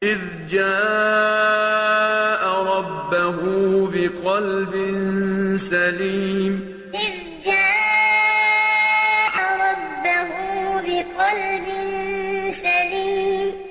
إِذْ جَاءَ رَبَّهُ بِقَلْبٍ سَلِيمٍ إِذْ جَاءَ رَبَّهُ بِقَلْبٍ سَلِيمٍ